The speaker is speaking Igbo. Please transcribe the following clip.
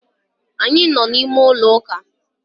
Anyị nọ n'ime ụlọ ụka